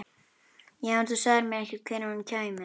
Já, en þú sagðir mér ekkert hvenær hún kæmi.